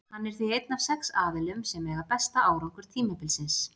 Hann er því einn af sex aðilum sem eiga besta árangur tímabilsins.